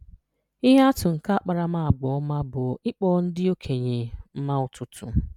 Ihe atụ nke Akparamaagwa Ọma bụ ịkpọ ndị okenye mma ụtụtụ.